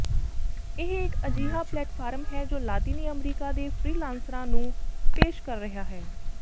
ਇਹ ਇੱਕ ਅਜਿਹਾ ਪਲੇਟਫਾਰਮ ਹੈ ਜੋ ਲਾਤੀਨੀ ਅਮਰੀਕਾ ਦੇ ਫ੍ਰੀਲਾਂਸਰਾਂ ਨੂੰ ਪੇਸ਼ ਕਰ ਰਿਹਾ ਹੈ